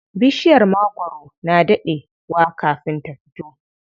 Bishiyar magwaro na daɗe wa kafin ta fito.